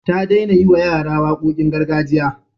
Ta daina yiwa yara waƙoƙin gargajiya.